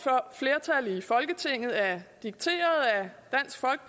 flertal i folketinget er dikteret